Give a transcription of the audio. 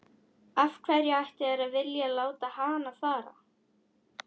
Af hverju ættu þeir að vilja láta hann fara?